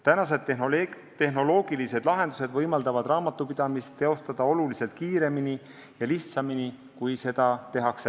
Tänapäevased tehnoloogilised lahendused võimaldavad raamatupidamist teostada oluliselt kiiremini ja lihtsamini kui seni.